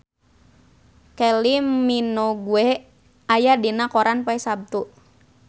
Kylie Minogue aya dina koran poe Saptu